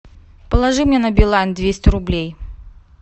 положи мне на билайн двести рублей